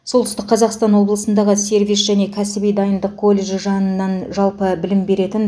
солтүстік қазақстан облысындағы сервис және кәсіби дайындық колледжі жанынан жалпы білім беретін